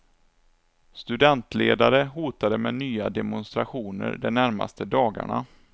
Studentledare hotade med nya demonstrationer de närmaste dagarna.